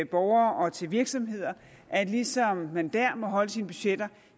borgere og til virksomheder at ligesom man dér må holde sine budgetter